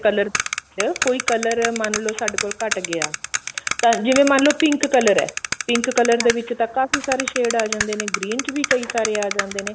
color ਚ ਕੋਈ color ਮਨ ਲਉ ਸਾਡੇ ਕੋਲ ਘੱਟ ਗਿਆ ਤਾਂ ਜਿਵੇਂ ਮਨ ਲੋ pink color ਐ pink color ਦੇ ਵਿੱਚ ਤਾਂ ਕਾਫੀ ਸਾਰੇ shade ਆ ਜਾਂਦੇ ਨੇ green ਚ ਵੀ ਕਈ ਸਾਰੇ ਆ ਜਾਂਦੇ ਨੇ